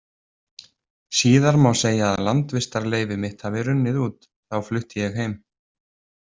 Síðar má segja að landvistarleyfi mitt hafi runnið út, þá flutti ég heim.